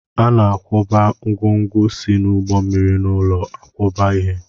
A na-akwakọba ngwongwo si n'ụgbọ mmiri n'ụlọ nkwakọba ihe.